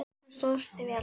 Þú stóðst þig vel.